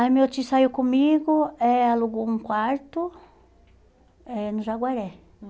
Aí meu tio saiu comigo, eh alugou um quarto eh no Jaguaré.